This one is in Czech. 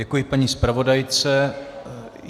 Děkuji paní zpravodajce.